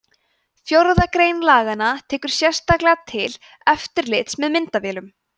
fjórða grein laganna tekur sérstaklega til eftirlits með myndavélum